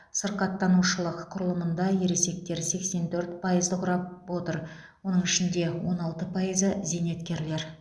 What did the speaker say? сырқаттанушылық құрылымында ересектер сексен төрт пайызды құрап отыр оның ішінде он алты пайызы зейнеткерлер